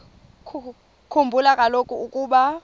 khumbula kaloku ukuba